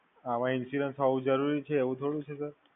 આમાં Insurance હોવું જરૂરી છે, એવું થોડું છે Sir